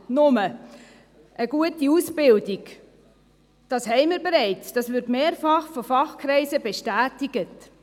Aber wir haben ja bereits eine gute Ausbildung, das wird mehrfach von Fachkreisen bestätigt.